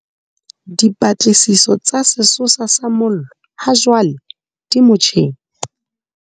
Dipatlisiso tsa sesosa sa mollo hajwale di motjheng.